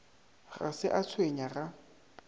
ga se a tshwenya ga